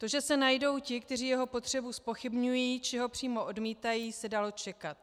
To, že se najdou ti, kteří jeho potřebu zpochybňují, či ho přímo odmítají, se dalo čekat.